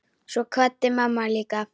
Svo kvaddi mamma líka.